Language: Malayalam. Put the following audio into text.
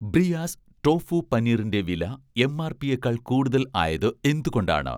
ബ്രിയാസ്' ടോഫു പനീറിൻ്റെ വില എം.ആർ.പിയേക്കാൾ കൂടുതൽ ആയത് എന്തുകൊണ്ടാണ്?